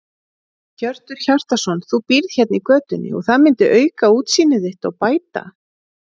Hjörtur Hjartarson: Þú býrð hérna í götunni og það myndi auka útsýni þitt og bæta?